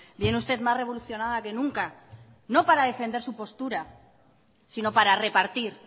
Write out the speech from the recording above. viene usted más revolucionada que nunca no para defender su postura sino para repartir